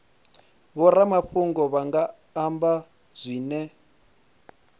vhoramafhungo vha nga amba zwine